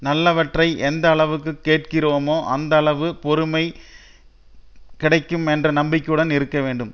நல்லவற்றை எந்த அளவுக்கு கேட்கிறோமோ அந்த அளவு பொருமை கிடைக்கும் என்ற நம்பிக்கையுடன் இருக்க வேண்டும்